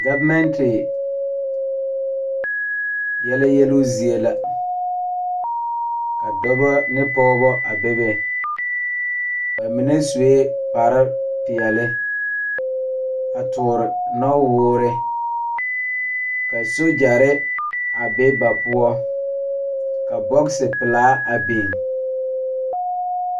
Gɔvemɛnte yɛlɛ yeluu zie la ka dɔbɔ ne pɔɔbɔ a bebe ba mine suee kparepeɛle a toore nɔwoore ka sogyɛre a be ba poɔ ka bɔgsi pelaa a biŋ.